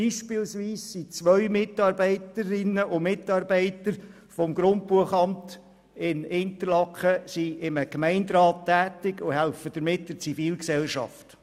Beispielsweise sind zwei Mitarbeitende des Grundbuchamts in Interlaken in einem Gemeinderat tätig und helfen damit der Zivilgesellschaft.